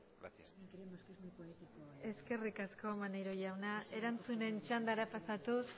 gracias eskerrik asko maneiro jauna erantzunen txandara pasatuz